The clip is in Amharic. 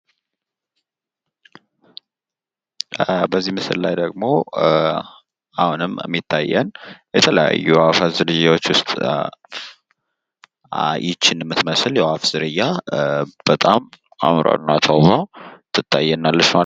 በዚህ ምስል ላይ ደግሞ አሁንም የሚታየን የተለያዩ የአፋት ዝርያዎች ውስጥ ይህቺን የምትመስል የአፍ ዝርያ በጣም አምራና ተውባ ትታየናለች ማለት ነው።